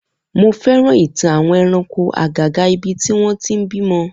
Mo féràn ìtàn àwọn ẹranko àgàgà ibi tí wọn ti ń bímọ